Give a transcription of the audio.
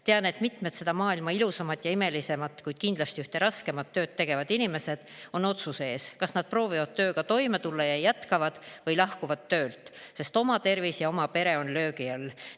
Tean, et mitmed seda maailma ilusaimat ja imelisimat, kuid kindlasti ühte raskeimat tööd tegevad inimesed on otsuse ees, kas nad proovivad tööga toime tulla ja jätkavad või lahkuvad töölt, sest oma tervis ja pere on löögi all.